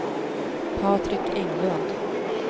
Patrik Englund